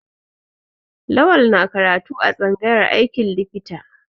Lawal na karatu a tsangayar aikin likita.